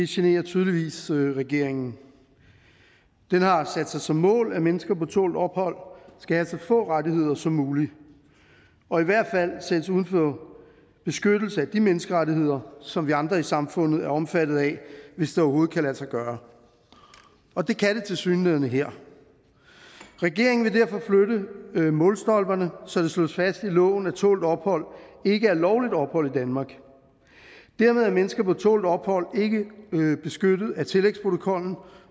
generer tydeligvis regeringen den har sat sig som mål at mennesker på tålt ophold skal have så få rettigheder som muligt og i hvert fald sættes uden for beskyttelse af de menneskerettigheder som vi andre i samfundet er omfattet af hvis det overhovedet kan lade sig gøre og det kan det tilsyneladende her regeringen vil derfor flytte målstolperne så det slås fast i loven at tålt ophold ikke er lovligt ophold i danmark dermed er mennesker på tålt ophold ikke beskyttet af tillægsprotokollen